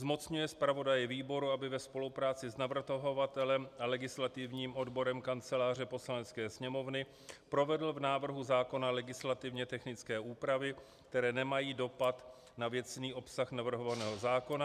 Zmocňuje zpravodaje výboru, aby ve spolupráci s navrhovatelem a legislativním odborem Kanceláře Poslanecké sněmovny provedl v návrhu zákona legislativně technické úpravy, které nemají dopad na věcný obsah navrhovaného zákona.